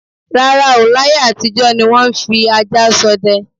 rárá o, láyé àtijọ ni wọ́n ń fi ajá ṣọdẹ.